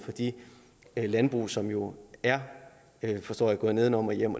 de landbrug som jo er forstår jeg gået nedenom og hjem